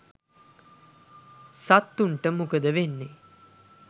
සත්තුන්ට මොකද වෙන්නේ